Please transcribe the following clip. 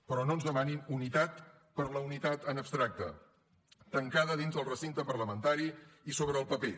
però no ens demanin unitat per la unitat en abstracte tancada dins del recinte parlamentari i sobre el paper